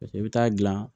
Paseke i bɛ taa gilan